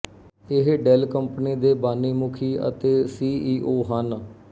ਇਹ Dell company ਦੇ ਬਾਨੀਮੁਖੀ ਤੇ ਸੀ ਈ ਓ ਹਨ